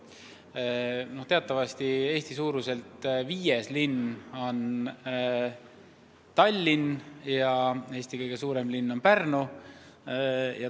Teatavasti Eesti suuruselt viies linn on Tallinn ja Eesti kõige suurem linn on Pärnu.